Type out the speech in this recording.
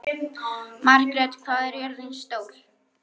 Margrét, hvað er jörðin stór?